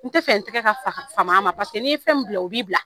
N tɛ fɛ n tɛgɛ ka fam'a ma n'i fɛn min bila o b'i bila